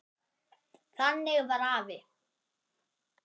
Þannig var afi.